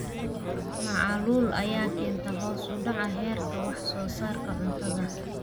Macaluul ayaa keenta hoos u dhaca heerka wax soo saarka cuntada.